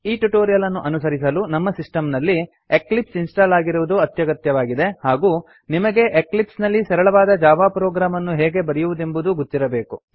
ಈ ಟ್ಯುಟೋರಿಯಲ್ ಅನ್ನು ಅನುಸರಿಸಲು ನಮ್ಮ ಸಿಸ್ಟಮ್ ನಲ್ಲಿ ಎಕ್ಲಿಪ್ಸ್ ಇನ್ಸ್ಟಾಲ್ ಆಗಿರುವುದು ಅತ್ಯಗತ್ಯವಾಗಿದೆ ಹಾಗೂ ನಿಮಗೆ ಎಕ್ಲಿಪ್ಸ್ ನಲ್ಲಿ ಸರಳವಾದ ಜಾವಾ ಪ್ರೊಗ್ರಾಮ್ ಅನ್ನು ಹೇಗೆ ಬರೆಯುವುದೆಂದೂ ಗೊತ್ತಿರಬೇಕು